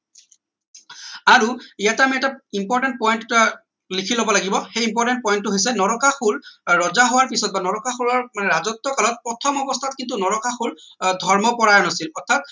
আৰু ইয়াতে আমি এটা important point এটা লিখি লব লাগিব সেই important point টো হৈছে নৰকাসুৰ আহ ৰজা হোৱাৰ পিছত বা নৰকাসুৰৰ আহ ৰাজত্ব কালত প্ৰথম অৱস্থাত কিন্তু নৰকাসুৰ আহ ধৰ্ম পৰায়ন আছিল অৰ্থাৎ